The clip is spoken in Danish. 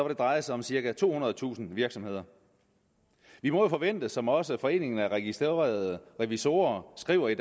det dreje sig om cirka tohundredetusind virksomheder vi må jo forvente det som også foreningen af registrerede revisorer skriver i